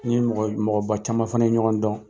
N ni mɔgɔ, mɔgɔba caman fana ye ɲɔgɔn dɔn.